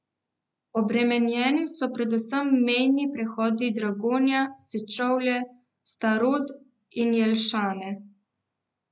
Obremenjeni so predvsem mejni prehodi Dragonja, Sečovlje, Starod in Jelšane.